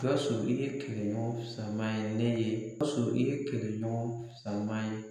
Gawusu i ye kɛlɛɲɔgɔn sama ye ne ye Gawusu i ye kɛlɛɲɔgɔn sama ye